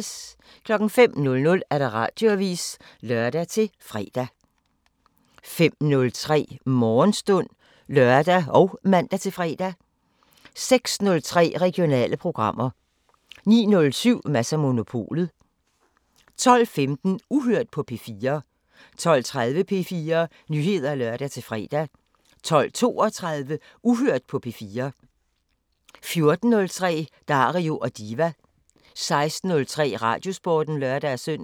05:00: Radioavisen (lør-fre) 05:03: Morgenstund (lør og man-fre) 06:03: Regionale programmer 09:07: Mads & Monopolet 12:00: Radioavisen (lør-fre) 12:15: Uhørt på P4 12:30: P4 Nyheder (lør-fre) 12:32: Uhørt på P4 14:03: Dario & Diva 16:03: Radiosporten (lør-søn)